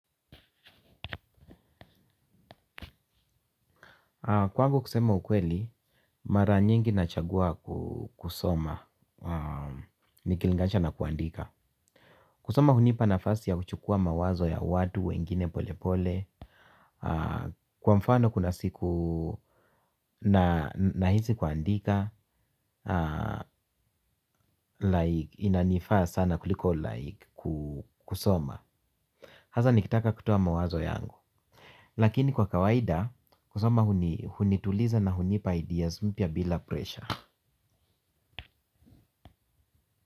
Kwangu kusema ukweli, mara nyingi nachagua kusoma, nikilinganisha na kuandika. Kusoma hunipa nafasi ya kuchukua mawazo ya watu, wengine pole pole. Kwa mfano kuna siku na hisi kuandika, like inanifaa sana kuliko like kusoma. Haza nikitaka kutoa mawazo yangu. Lakini kwa kawaida, kusoma hunituliza na hunipa ideas mpya bila presha.